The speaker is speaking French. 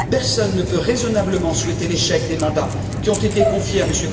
Personne ne peut raisonnablement souhaiter l'échec des mandats qui ont été confiés à M.